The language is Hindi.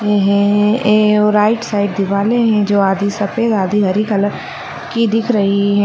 ये हैं और राइट साइड दिवाले हैं जो आधी सफेद आधी हरी कलर कि दिख रही हैं ।